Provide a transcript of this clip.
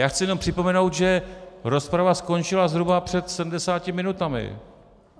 Já chci jenom připomenout, že rozprava skončila zhruba před 70 minutami.